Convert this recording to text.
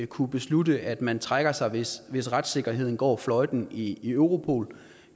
kunne beslutte at man trækker sig hvis hvis retssikkerheden går fløjten i europol